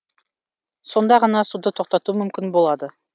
сонда ғана суды тоқтату мүмкін болады